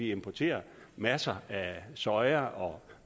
importerer masser af soja og